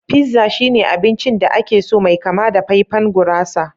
Pizza shine abincin da ake so mai kama da faifain gurasa